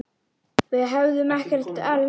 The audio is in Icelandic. Við hefðum ekkert elst.